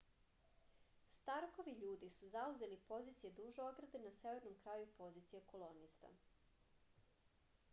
starkovi ljudi su zauzeli pozicije duž ograde na severnom kraju pozicija kolonista